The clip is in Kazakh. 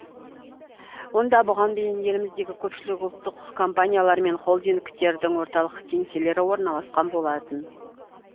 онда бұған дейін еліміздегі көпшілік ұлттық компаниялар мен холдингтердің орталық кеңселері орналасқан болатын